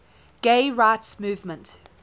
gay rights movement